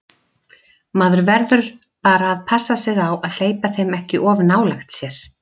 Maður verður bara að passa sig á að hleypa þeim ekki of nálægt sér.